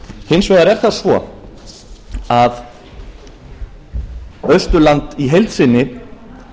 hins vegar er það svo að austurland í heild sinni